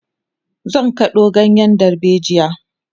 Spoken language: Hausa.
zan kado ganyen dalbejia